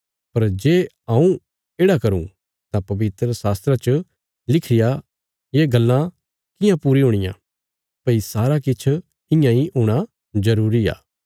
पर जे हऊँ येढ़ा करूँ तां पवित्रशास्त्रा च लिखी रियां ये गल्लां कियां पूरी हुणियां भई सारा किछ इयां इ हूणा जरूरी आ